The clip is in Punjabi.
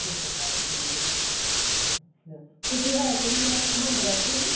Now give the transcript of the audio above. ਅੱਛਾ ਅੱਛਾ ਤਾਏ ਦੇ ਮੁੰਡੇ ਦਾ ਸੀਗਾ